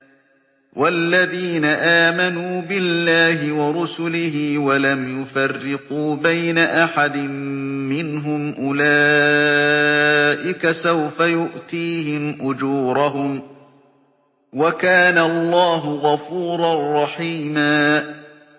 وَالَّذِينَ آمَنُوا بِاللَّهِ وَرُسُلِهِ وَلَمْ يُفَرِّقُوا بَيْنَ أَحَدٍ مِّنْهُمْ أُولَٰئِكَ سَوْفَ يُؤْتِيهِمْ أُجُورَهُمْ ۗ وَكَانَ اللَّهُ غَفُورًا رَّحِيمًا